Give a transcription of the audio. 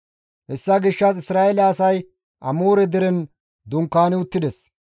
Hessa gishshas Isra7eele asay Amoore deren dunkaani uttides.